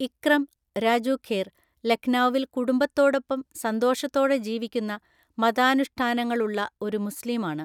ഇക്രം (രാജു ഖേർ) ലഖ്നൗവിൽ കുടുംബത്തോടൊപ്പം സന്തോഷത്തോടെ ജീവിക്കുന്ന മതാനുഷ്ഠാനങ്ങളുള്ള ഒരു മുസ്ലീമാണ്.